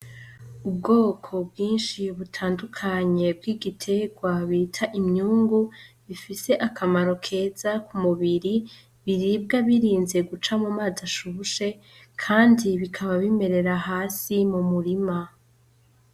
Ubwoko bwinshi butandukanye bw'igiterwa bita imyungu, bifise akamaro keza k'umubiri biribwa birinze guca m'umazi ashushe kandi bikaba bimerera hasi mu murima.